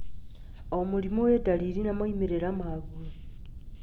O mũrimũ wĩ dariri na moimĩrĩra maguo